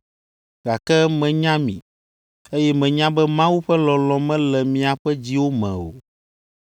gake menya mi, eye menya be Mawu ƒe lɔlɔ̃ mele miaƒe dziwo me o.